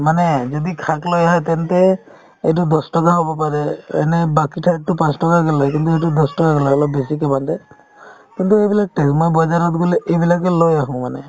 মানে যদি শাক লৈ আহে তেন্তে এইটো দহ টকা হ'ব পাৰে এনে বাকি ঠাইততো পাঁচ টকাকে লই কিন্তু সেইটো দহ টকাকে লই অলপ বেছিকে কিন্তু এইবিলাক মই বজাৰত গ'লে এইবিলাকে লৈ আহো মানে